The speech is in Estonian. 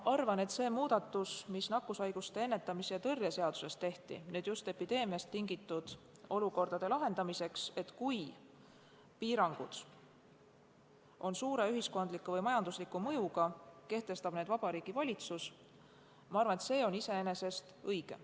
Ma arvan, et see muudatus, mis nakkushaiguste ennetamise ja tõrje seaduses tehti just epideemiast tingitud olukordade lahendamiseks – et kui piirangud on suure ühiskondliku või majandusliku mõjuga, siis kehtestab need Vabariigi Valitsus –, on iseenesest õige.